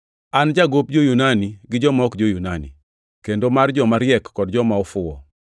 An jagop jo-Yunani gi joma ok jo-Yunani, kendo mar joma riek kod joma ofuwo.